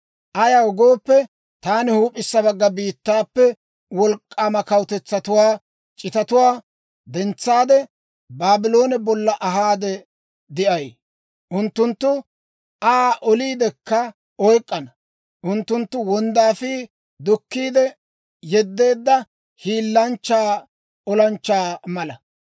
Ayaw gooppe, taani huup'issa bagga biittaappe wolk'k'aama wolk'k'aama kawutetsatuwaa c'itatuwaa dentsaade, Baabloone bolla ahaade de'ay. Unttunttu Aa oliidekka oyk'k'ana; unttunttu wonddaafii dukkiide yedeedda hiilanchcha olanchchaa mala.